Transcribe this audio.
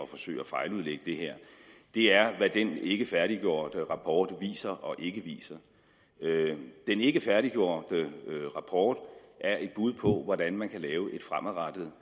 forsøge at fejludlægge det her er hvad den ikkefærdiggjorte rapport viser og ikke viser den ikkefærdiggjorte rapport er et bud på hvordan man kan lave et fremadrettet